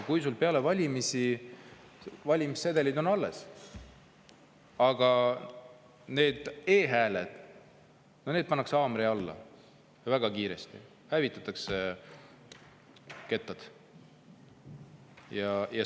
Peale valimisi valimissedelid on alles, aga need e-hääled – no need pannakse haamri alla ja väga kiiresti hävitatakse kettad.